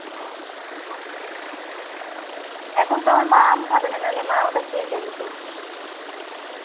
এখন তো মা আমার আম খাবেনা না হলে মা ওটা খেয়ে ফেলতো